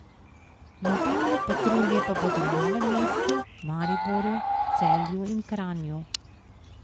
Mobilne patrulje pa bodo v Novem mestu, Mariboru, Celju in Kranju.